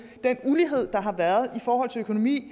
den ulighed der har været i forhold til økonomi